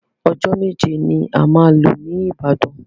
Ọjọ́ méje ni a máa lò ní Ìbàdàn.